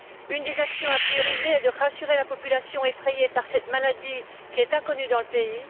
Une des actions prioritaires est de rassurer la population effrayée par cette maladie, qui est inconnue dans le pays.